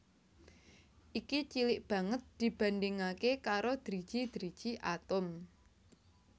Iki cilik banget dibandhingaké karo driji driji atom